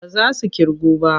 Ba za su ƙirgu ba.